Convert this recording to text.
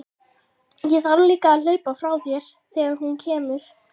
Ég þarf líka að hlaupa frá þér þegar hún kemur.